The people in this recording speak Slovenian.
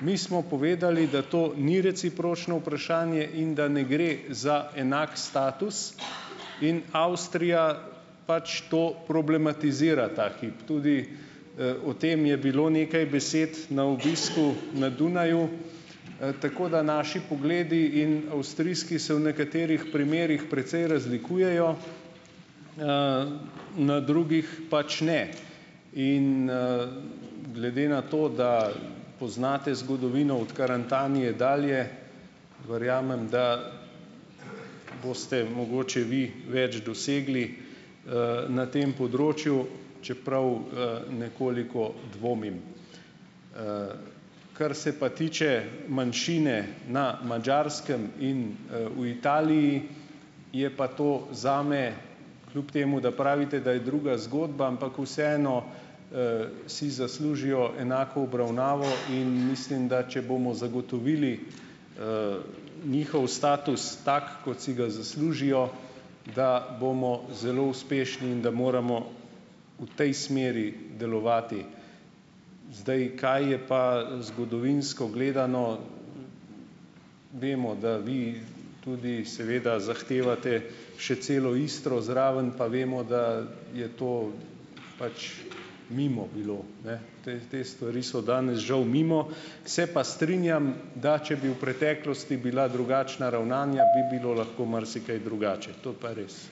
Mi smo povedali, da to ni recipročno vprašanje in da ne gre za enak status in Avstrija pač to problematizira ta hip tudi, o tem je bilo nekaj besed na obisku na Dunaju. Tako da naši pogledi in avstrijski se v nekaterih primerih precej razlikujejo, na drugih pač ne. In, Glede na to, da poznate zgodovino od Karantanije dalje verjamem, da boste mogoče vi več dosegli, na tem področju, čeprav, nekoliko dvomim. Kar se pa tiče manjšine na Madžarskem in, v Italiji, je pa to zame kljub temu, da pravite, da je druga zgodba, ampak vseeno, si zaslužijo enako obravnavo in mislim, da če bomo zagotovili, njihov status, tako kot si ga zaslužijo, da bomo zelo uspešni in da moramo v tej smeri delovati. Zdaj, kaj je pa zgodovinsko gledano, vemo, da vi tudi seveda zahtevate še celo Istro zraven, pa vemo, da je to pač mimo bilo, ne. Te te stvari so danes žal mimo. Se pa strinjam, da če bi v preteklosti bila drugačna ravnanja bi bilo lahko marsikaj drugače, to pa res.